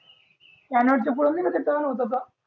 turn होतो का